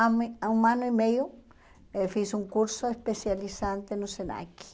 Há mui há um ano e meio eh fiz um curso especializante no SENAC.